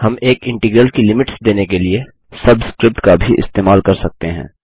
हम एक इंटीग्रल की लिमिट्स देने के लिए सबस्क्रिप्ट का भी इस्तेमाल कर सकते हैं